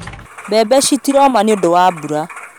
Mbembe citiroma nĩũndũwa mbura